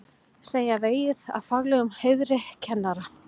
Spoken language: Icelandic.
Segja vegið að faglegum heiðri kennara